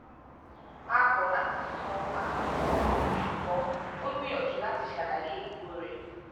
ó kọ láti san àfikún owó ṣùgbọn ó gbìyànjú láti ṣàlàyé ipo rẹ